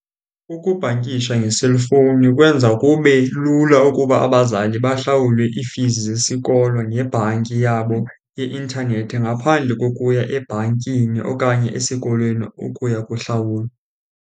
Ukubhankisha ngeselufowuni kwenza kube lula ukuba abazali bahlawule iifizi zesikolo ngebhanki yabo yeintanethi ngaphandle kokuya ebhankini okanye esikolweni ukuya kuhlawula.